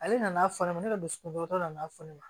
Ale nana fɔ ne ma ne ka dusukun dɔ nana fɔ ne ma